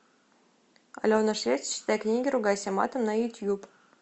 алена швец читай книги ругайся матом на ютуб